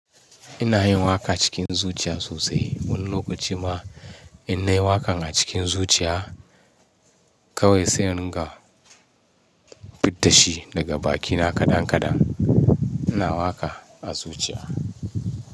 Ina yin waka cikin zuciya sosai. Wani lokaci ma ina yi wakan a cikin zuciya kawai sai in ga fidda shi daga bakina kadan kadan. Ina waka a zuciya.